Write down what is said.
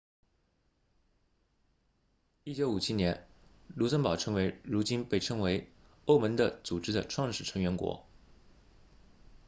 1957年卢森堡成为如今被称为欧盟的组织的创始成员国